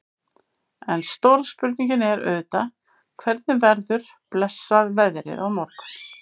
En stóra spurningin er auðvitað hvernig verður blessað veðrið á morgun?